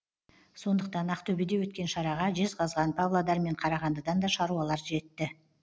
сондықтан ақтөбеде өткен шараға жезқазған павлодар мен қарағандыдан да шаруалар жетті